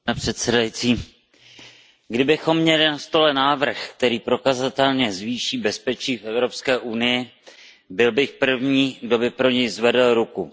Pane předsedající, kdybychom měli na stole návrh, který prokazatelně zvýší bezpečí v EU, byl bych první, kdo by pro něj zvedl ruku.